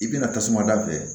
I bina tasuma da